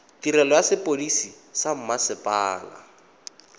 tirelo ya sepodisi sa mmasepala